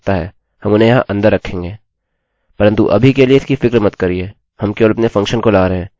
परन्तु अभी के लिए इसकी फिक्र मत करिये हम केवल अपने फंक्शन function को ला रहे हैं जोकि इस कोड के ब्लाक को कार्यान्वित करेगा